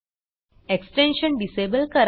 extension disable करा